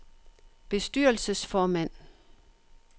bestyrelsesformand